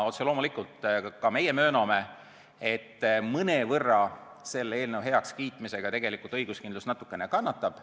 Otse loomulikult ka meie mööname, et mõnevõrra selle eelnõu heakskiitmisega õiguskindlus kannatab.